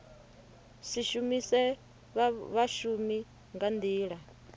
si shumise vhashumi nga nḓila